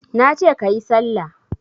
Nace kayi sallah